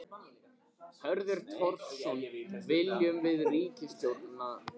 Hörður Torfason: Viljum við ríkisstjórnina burt?